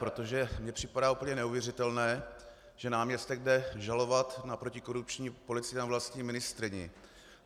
Protože mi připadá úplně neuvěřitelné, že náměstek jde žalovat na protikorupční policii na vlastní ministryni.